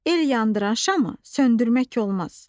El yandıran şamı söndürmək olmaz.